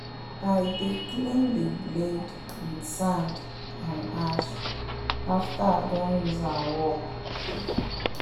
i dey clean the blade with sand and ash after i doh use am work